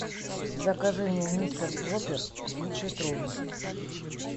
закажи мне мистер пропер двухлитровый